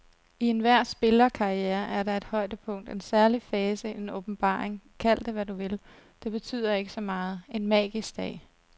I enhver spillerkarriere er der et højdepunkt, en særlig fase, en åbenbaring, kald det, hvad du vil, det betyder ikke så meget, en magisk dag.